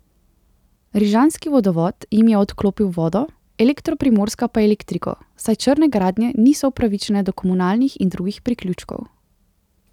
Rižanski vodovod jim je odklopil vodo, Elektro Primorska pa elektriko, saj črne gradnje niso upravičene do komunalnih in drugih priključkov.